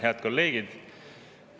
Head kolleegid!